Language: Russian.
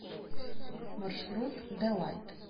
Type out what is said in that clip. маршрут делайт